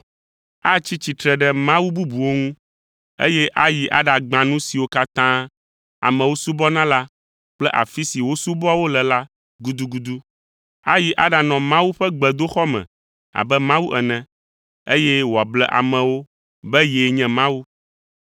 Atsi tsitre ɖe mawu bubuwo ŋu, eye ayi aɖagbã nu siwo katã amewo subɔna la kple afi si wosubɔa wo le la gudugudu. Ayi aɖanɔ Mawu ƒe gbedoxɔ me abe Mawu ene, eye wòable amewo be yee nye Mawu.